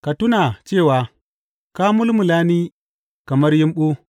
Ka tuna cewa ka mulmula ni kamar yumɓu.